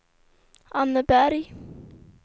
Anneberg